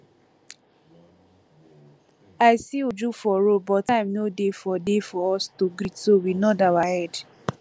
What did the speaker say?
i see uju for road but time no dey for dey for us to greet so we nod our head